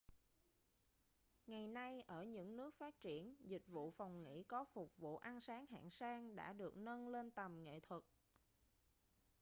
ngày nay ở những nước phát triển dịch vụ phòng nghỉ có phục vụ ăn sáng hạng sang đã được nâng lên tầm nghệ thuật